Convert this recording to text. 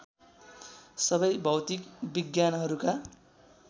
सबै भौतिक विज्ञानहरूका